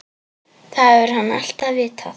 Það hefur hann alltaf vitað.